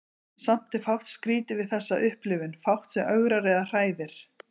Samt er fátt skrýtið við þessa upplifun, fátt sem ögrar eða hræðir.